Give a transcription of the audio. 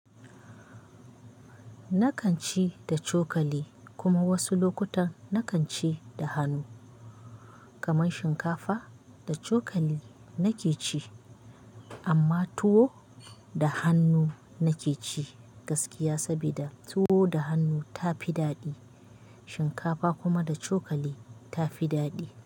Nakan ci da cokali kuma wasu lokutan nakan ci da hannu. Kaman shinkafa da cokali nake ci amma tuwo da hannu nake ci gaskiya saboda tuwo da hannu ta fi daɗi. Shinkafa kuma da cokali ta fi daɗi.